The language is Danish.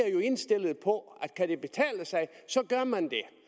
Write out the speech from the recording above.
er jo indstillede på at kan det betale sig så gør man det